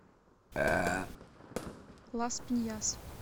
лас пиньяс